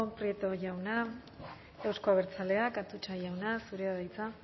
prieto jauna euzko abertzaleak atutxa jauna zurea da hitza